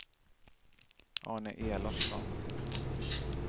Arne Elofsson